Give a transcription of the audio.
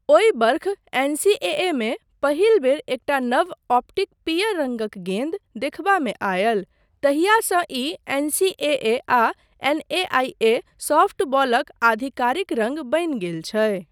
ओहि वर्ष, एनसीएएमे पहिल बेर एकटा नव, ऑप्टिक पीयर रङ्गक गेन्द देखबामे आयल, तहियासँ ई एनसीएए आ एनएआईए सॉफ्टबॉलक आधिकारिक रङ्ग बनि गेल छै।